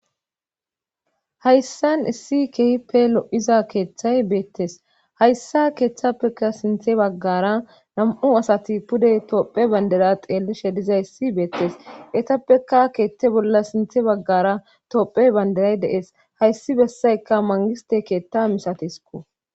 hayssan issi kehipe lo7iza keeththay beettes hayssa keeththappeka sinthe baggara nam7u asati pude toophe bandera xeellishe diza issi beettes etappeka keeththe bolla sinthe baggara toopphey banderay dees hayssi bessayka mangiste keetta misatisko